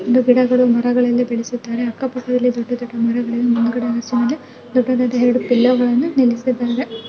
ಗಿಡಗಳು ಮರಗಳನ್ನ ಬೆಳೆಸಿದ್ದಾರೆ ಅಕ್ಕಪಕ್ಕದಲ್ಲಿ ದೊಡ್ಡ ದೊಡ್ಡ ಮರಗಳು ಮುಂದ್ಗಡೆ ಹಸು ಇದೆ ದೊಡ್ಡದಾದ ಎರಡು ಪಿಲ್ಲರ್ ಗಳನ್ನು ನಿಲ್ಲಿಸಿದ್ದಾರೆ.